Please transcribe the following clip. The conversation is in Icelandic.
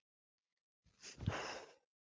Síðan eru liðin mörg ár.